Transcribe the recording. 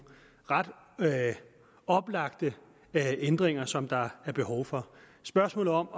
meget oplagte ændringer som der er behov for spørgsmålet om